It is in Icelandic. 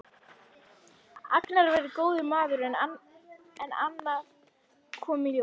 Agnar væri góður maður en annað kom í ljós.